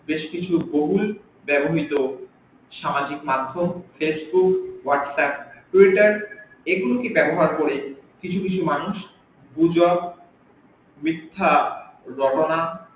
বেশ কিছু বহুল ব্যাবহ্রত সামাজিক মাধ্যম facebook whatsapp twitter এগুল কে ব্যাবহার করে কিছু কিছু মানু গুজব মিথ্যা রটনা